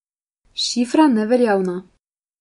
Šifra neveljavna.